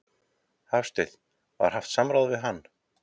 Hafsteinn: Var haft samráð við hann?